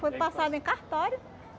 Foi passado em cartório.